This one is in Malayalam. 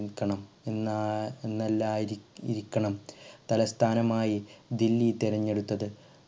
കണം എന്നാ എന്നാല്ലായിരിക്ക ഇരിക്കണം തലസ്ഥാനമായി ദില്ലി തിരഞ്ഞെടുത്തത്